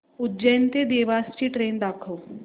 उज्जैन ते देवास ची ट्रेन दाखव